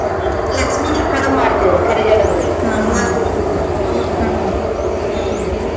ಲಕ್ಷ್ಮೀಗೆ ಕಡ್ಬ ಮಾಡ್ತೇವ್ರೀ ಕರಿಗಡ್ಬ್ ರೀ ಅಮ್ವಾಸಿದೀವ್ಸ್ರೀ ಹೂನ್ರಿ ಹ್ಮ್‌.